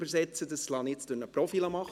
Das lasse ich durch einen Profi tun.